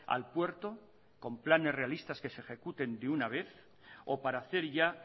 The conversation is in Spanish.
al puerto con planes realistas que se ejecuten de una vez o para hacer ya